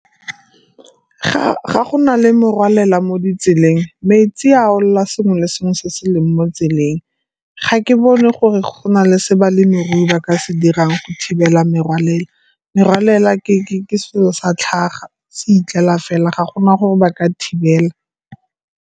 ga go na le morwalela mo ditseleng, metsi a olela sengwe le sengwe se se leng mo tseleng. Ga ke bone gore go na le se balemirui ba ka se dirang go thibela merwalela, merwalela ke selo sa tlhago, se itlela fela, ga gona gore ba ka thibela.